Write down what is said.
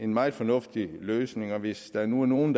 meget fornuftig løsning og hvis der nu er nogle